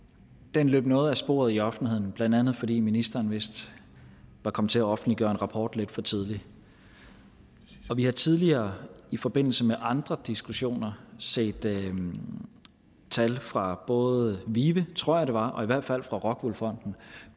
den løb noget af sporet i offentligheden blandt andet fordi ministeren vist var kommet til at offentliggøre en rapport lidt for tidligt vi har tidligere i forbindelse med andre diskussioner set tal fra både vive tror jeg det var og i hvert fald fra rockwool fonden